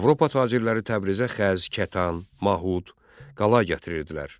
Avropa tacirləri Təbrizə xəz, kətan, mahud, qala gətirirdilər.